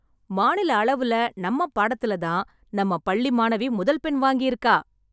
மாநில அளவுல நம்ம பாடத்திலதான் தான் நம்ம பள்ளி மாணவி முதல் மதிப்பெண் வாங்கியிருக்கா.